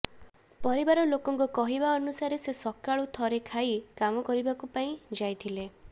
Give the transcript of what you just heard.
ପରିବାର ଲୋକଙ୍କ କହିବା ଅନୁସାରେ ସେ ସକାଳୁ ଥରେ ଖାଇ କାମ କରିବା ପାଇଁ ଯାଇଥିଲେ